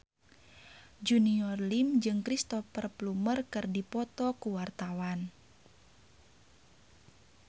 Junior Liem jeung Cristhoper Plumer keur dipoto ku wartawan